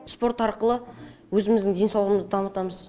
спорт арқылы өзіміздің денсаулығымызды дамытамыз